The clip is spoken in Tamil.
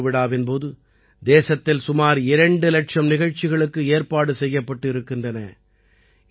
அமுதப் பெருவிழாவின் போது தேசத்தில் சுமார் இரண்டு இலட்சம் நிகழ்ச்சிகளுக்கு ஏற்பாடு செய்யப்பட்டு இருக்கின்றன